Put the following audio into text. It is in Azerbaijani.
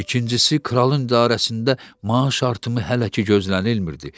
İkincisi, kralın idarəsində maaş artımı hələ ki gözlənilmirdi.